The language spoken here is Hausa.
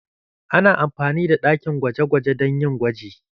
Ana amfani da ɗakin gwaje-gwaje don yin gwaji